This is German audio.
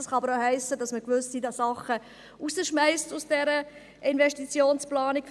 Es kann aber auch heissen, dass man gewisse Sachen aus dieser Investitionsplanung rausschmeisst.